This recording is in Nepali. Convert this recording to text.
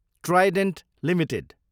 Trident Ltd